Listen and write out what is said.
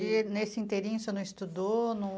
E nesse inteirinho você não estudou? Não...